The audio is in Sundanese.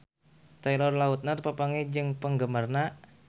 Taylor Lautner papanggih jeung penggemarna